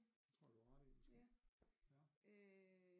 Tror jeg du har ret i måske ja